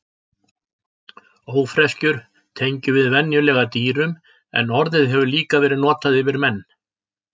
Ófreskjur tengjum við venjulega dýrum en orðið hefur líka verið notað yfir menn.